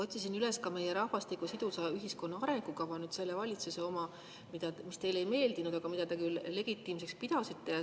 Otsisin üles ka meie rahvastiku ja sidusa ühiskonna arengukava – selle valitsuse oma, mis teile küll ei meeldinud, aga mida te siiski legitiimseks pidasite.